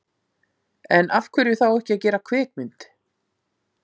En af hverju þá ekki að gera kvikmynd?